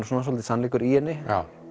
svolítill sannleikur í henni